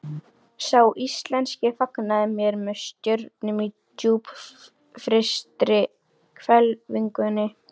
Sá íslenski fagnaði mér með stjörnum á djúpfrystri hvelfingunni.